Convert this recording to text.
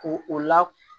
Ko o la